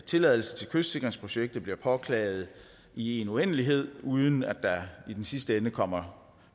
tilladelse til kystsikringsprojektet bliver påklaget i en uendelighed uden at der i den sidste ende kommer